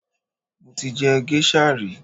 Mo ti jẹ géṣà rí